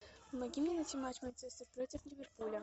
помоги мне найти матч манчестер против ливерпуля